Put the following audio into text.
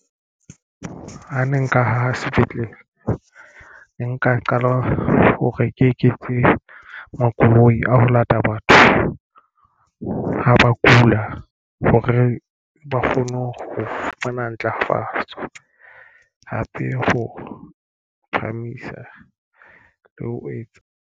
Ha ne nka ho sepetlele nka qala hore ke eketse makoloi a ho lata batho. Ho ha ba kula hore ba kgone ho fumana ntlafatso hape. Ho phahamisa le ho etsa.